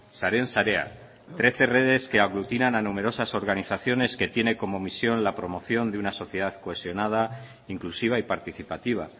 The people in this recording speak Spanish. saren sarea trece redes que aglutinan a numerosas organizaciones que tiene como misión la promoción de una sociedad cohesionada inclusiva y participativa